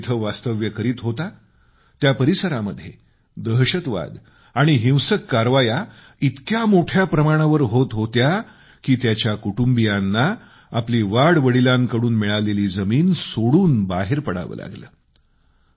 अंजुम जिथं वास्तव्य करीत होता त्या परिसरामध्ये दहशतवाद आणि हिंसक कारवाया इतक्या मोठ्या प्रमाणावर होत होत्या की त्याच्या कुटुंबियांना आपली वाडवडिलांकडून मिळालेली जमीन सोडून बाहेर पडावं लागलं